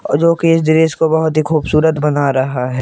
और जो कि इस दृश्य को बहुत ही खूबसूरत बना रहा है।